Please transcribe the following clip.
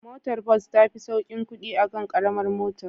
Motar bus tafi saukin kudi akan Karamar mota